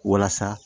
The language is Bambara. Walasa